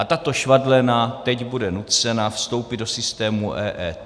A tato švadlena teď bude nucena vstoupit do systému EET.